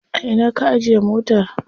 A ina ka ajiye motar?